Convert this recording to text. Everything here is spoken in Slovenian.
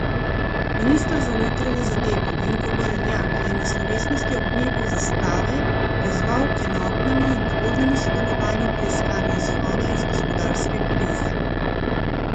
Minister za notranje zadeve Vinko Gorenak je na slovesnosti ob dnevu zastave pozval k enotnemu in tvornemu sodelovanju pri iskanju izhoda iz gospodarske krize.